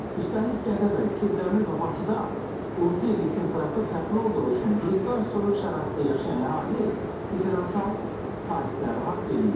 Üstəlik, Gədəbəy, Kürdəmir və Bakıda orta illik temperatur fərqli olduğu üçün yeddi ay soyuq şəraitdə yaşayan əhali differensial tarifləri haqq eləyir.